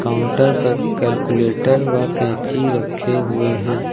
Counter पर calculator व कैंची रखे हुए हैं।